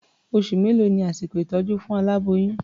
Oṣù mélòó ni àsìkò ìtọ́jú fún aláboyún?